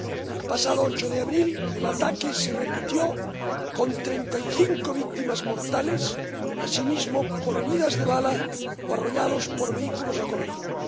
El pasado 8 de abril, el ataque se repitió con treinta y cinco víctimas mortales, también por heridas de bala o arrollados por vehículos acorazados.